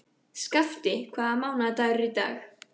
Skafti, hvaða mánaðardagur er í dag?